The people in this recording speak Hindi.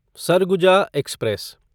सरगुजा एक्सप्रेस